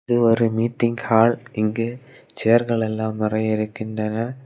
இது ஒரு meeting hall இங்கு சேர்களெல்லாம் நெறைய இருக்கின்றன.